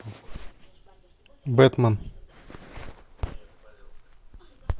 бэтмен